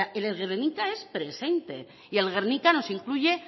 el guernica es presente y el guernica nos incluye